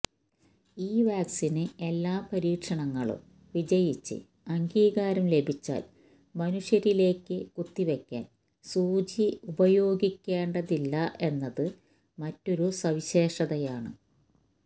ഈ വാക്സിന് എല്ലാ പരീക്ഷണങ്ങളും വിജയിച്ച് അംഗീകാരം ലഭിച്ചാല് മനുഷ്യരിലേക്ക് കുത്തിവെക്കാന് സൂചി ഉപയോഗിക്കേണ്ടതില്ല എന്നത് മറ്റൊരു സവിശേഷതയാണ്